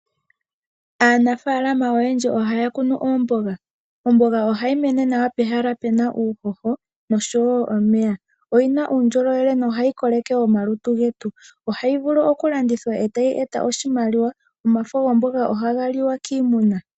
Aanafaalama oyendji ohaya kunu oomboga. Omboga oha yi mene nawa pehala pe na uuhoho, nosho wo omeya. Oyina uundjolowele noha yi koleke omalutu getu. Oha yi vulu oku landithwa eta yi eta oshimaliwa nomafo gomboga ohaga liwa kiimuna.